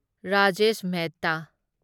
Rajesh Mehta